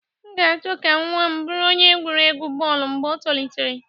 M ga-achọ ka nwa m bụrụ onye egwuregwu bọọlụ mgbe o tolitere